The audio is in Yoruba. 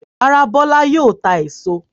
Rárá, Bọ́lá yóò ta èso.